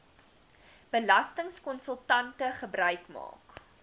belastingkonsultante gebruik maak